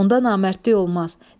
Onda namərdlik olmaz.